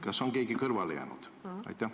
Kas on ehk keegi kõrvale jäänud?